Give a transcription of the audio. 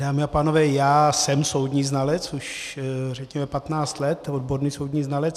Dámy a pánové, já jsem soudní znalec už řekněme 15 let, odborný soudní znalec.